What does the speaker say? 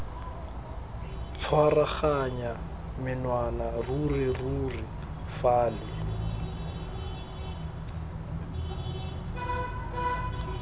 tshwaraganya menwana ruri ruri fale